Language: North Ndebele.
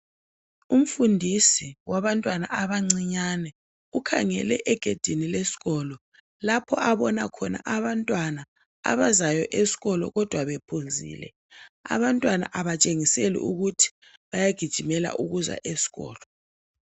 Imfundiso wabantwana abancinyane ukhangele egedini lesikolo lapho abona khona abantwana abazayo esikolo kodwa bephuzile abantwana abantshengiseli ukuthi bayagijimela ukuza esikolo